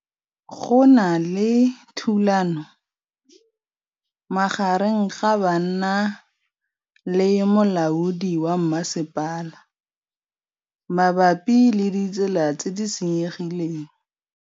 Go na le thulanô magareng ga banna le molaodi wa masepala mabapi le ditsela tse di senyegileng.